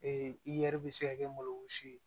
iyɛri bɛ se ka kɛ malo si ye